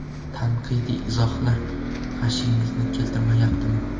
Tanqidiy izohlar g‘ashingizni keltirmayaptimi?